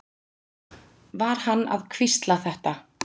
Var hann að hvísla þetta?